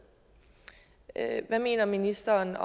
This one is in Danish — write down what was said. hvad mener ministeren